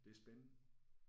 Det er spændende